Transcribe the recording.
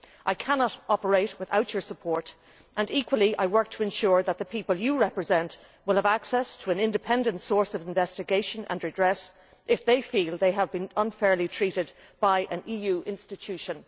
I cannot operate without your support, and equally I work to ensure that the people you represent will have access to an independent source of investigation and redress if they feel they have been unfairly treated by an EU institution.